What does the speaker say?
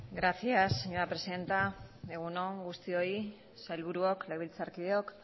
gracias señora presidenta egun on guztioi sailburuok legebiltzarkideok